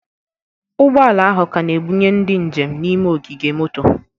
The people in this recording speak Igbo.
Ụgbọ ala ahụ ka na-ebunye ndị njem n'ime ogige moto